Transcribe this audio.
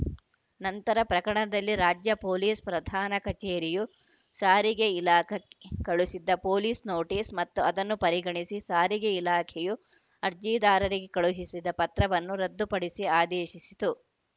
ನಂತರ ಪ್ರಕರಣದಲ್ಲಿ ರಾಜ್ಯ ಪೊಲೀಸ್‌ ಪ್ರಧಾನ ಕಚೇರಿಯು ಸಾರಿಗೆ ಇಲಾಖೆಕ್ ಗೆ ಕಳುಹಿಸಿದ್ದ ಪೊಲೀಸ್‌ ನೋಟಿಸ್‌ ಮತ್ತು ಅದನ್ನು ಪರಿಗಣಿಸಿ ಸಾರಿಗೆ ಇಲಾಖೆಯು ಅರ್ಜಿದಾರರಿಗೆ ಕಳುಹಿಸಿದ್ದ ಪತ್ರವನ್ನು ರದ್ದುಪಡಿಸಿ ಆದೇಶಿಸಿತು